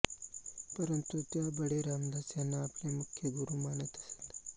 परंतु त्या बडे रामदास यांना आपले मुख्य गुरू मानत असत